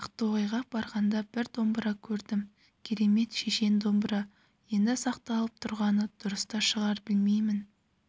ақтоғайға барғанда бір домбыра көрдім керемет шешен домбыра енді сақталып тұрғаны дұрыс та шығар білмеймін